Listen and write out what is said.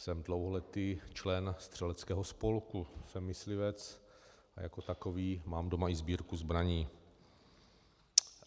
Jsem dlouholetý člen střeleckého spolku, jsem myslivec a jako takový mám doma i sbírku zbraní.